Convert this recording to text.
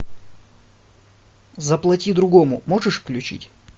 заплати другому можешь включить